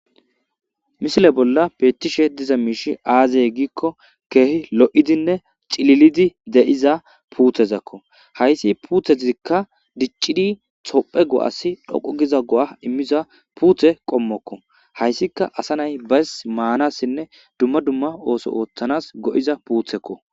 Misile bolla peettishe diza miishi aazey giikko keehi lo'idinne cililidi deyiza puuthezakko hayssi puutheizikka diccidi xhophe go'asi dhoqo giza go'a immiza puuthe qommokko hayssika asa nay bays maanassinne dumma dumma ooso ooththanas go'iza puuthekko.